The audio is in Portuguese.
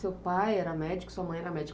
Seu pai era médico, sua mãe era médica.